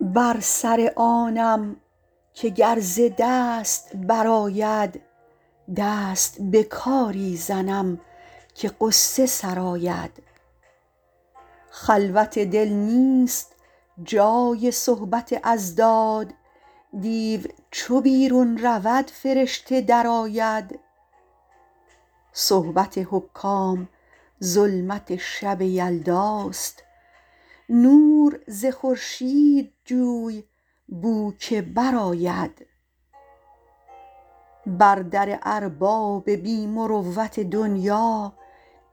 بر سر آنم که گر ز دست برآید دست به کاری زنم که غصه سرآید خلوت دل نیست جای صحبت اضداد دیو چو بیرون رود فرشته درآید صحبت حکام ظلمت شب یلداست نور ز خورشید جوی بو که برآید بر در ارباب بی مروت دنیا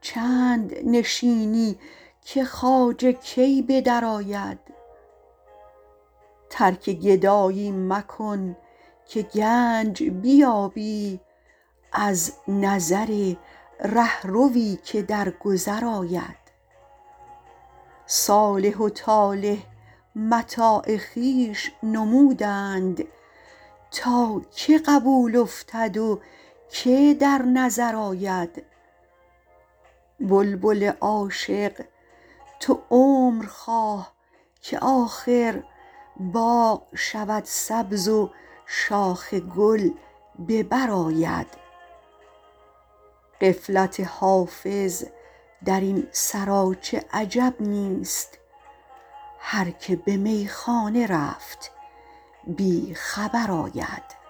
چند نشینی که خواجه کی به درآید ترک گدایی مکن که گنج بیابی از نظر رهروی که در گذر آید صالح و طالح متاع خویش نمودند تا که قبول افتد و که در نظر آید بلبل عاشق تو عمر خواه که آخر باغ شود سبز و شاخ گل به بر آید غفلت حافظ در این سراچه عجب نیست هر که به میخانه رفت بی خبر آید